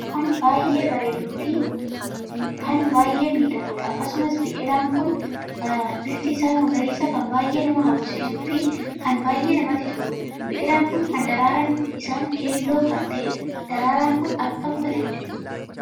Biqilaan kan baay'ee bareeduu fi kan baay'ee miidhaguudha. akkasumas biqilaan kun bifti isaa magariisa kan baay'ee nama hawwisiisuu fi kan baay'ee namatti toluudha. biqilaan kun kan daraaraan isaan keelloo kan taheedha. daraaraan Kun akkam bareeda!